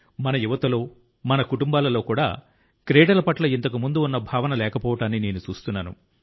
మన యువతలో మన కుటుంబాలలో కూడా క్రీడల పట్ల ఇంతకుముందు ఉన్న భావన లేకపోవడాన్ని నేను చూస్తున్నాను